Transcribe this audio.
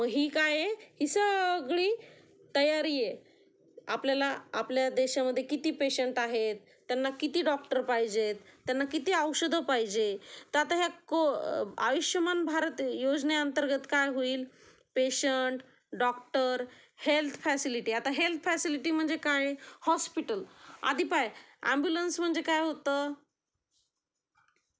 मग ही काय आहे , ही सगळी तयारी आहे, आपल्याला आपल्या देशामध्ये किती पेशंन्ट आहेत, त्यांना किती डॉक्टर पाहिजेत, त्यांना किती औषधं पाहिजेत, तर आता ह्या आयुष्यमान भारत योजने अंतर्गंत काय होईल, पेशंट, डॉक्टर हेल्थ फॅसिलिटी आता हेल्थ फॅसिलीटी म्हणजे काय, हॉस्पिटल, आधी पाय ऍम्ब्युलन्स म्हणजे काय होत